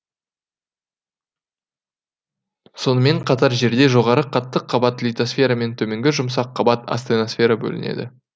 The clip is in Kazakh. сонымен қатар жерде жоғары қатты қабат литосфера мен төменгі жұмсақ қабат астеносфера бөлінеді